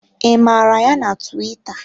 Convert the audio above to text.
I mara ya na tuwita?